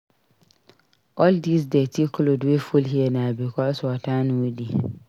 All dis dirty cloth wey full here na because water no dey.